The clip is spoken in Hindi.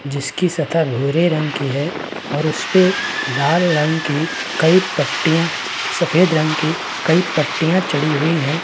जिसकी सतह भूरे रंग की है और उसपे लाल रंग कि कई पट्टियां सफ़ेद रंग की कई पट्टियां चढ़ी हुई है।